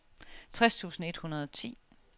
tres tusind et hundrede og ti